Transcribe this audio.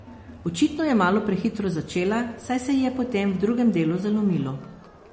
Očitno je malo prehitro začela, saj se ji je potem v drugem delu zalomilo.